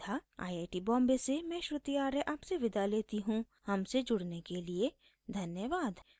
I I T Bombay से मैं श्रुति आर्य आपसे विदा लेती हूँ